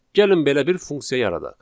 Gəlin belə bir funksiya yaradaq.